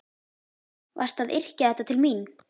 Varstu að yrkja þetta til mín?